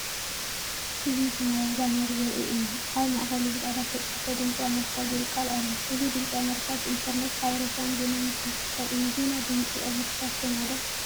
እዚ ሰማያዊ ባነር ዘርኢ እዩ። ኣብ ማእከሉ ብጻዕዳ ዝተጻሕፈ “ድምጺ ኣሜሪካ” ዝብል ቃል ኣሎ። እዚ ድምጺ ኣሜሪካ፡ ብኢንተርነት ሓበሬታን ዜናን ዝህብ ትካል እዩ። ዜና ድምጺ ኣሜሪካ ትሰምዑ ዶ?